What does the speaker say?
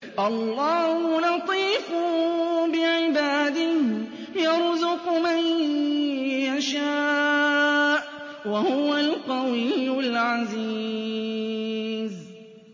اللَّهُ لَطِيفٌ بِعِبَادِهِ يَرْزُقُ مَن يَشَاءُ ۖ وَهُوَ الْقَوِيُّ الْعَزِيزُ